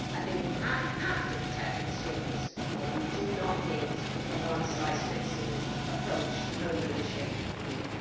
I think we have to protect consumers but we do not need a one size fits all approach to home ownership in Europe.